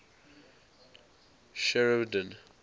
sheridan